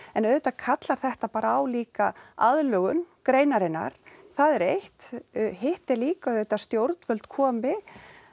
en auðvitað kallar þetta bara á líka aðlögun greinarinnar það er eitt hitt er líka auðvitað að stjórnvöld komi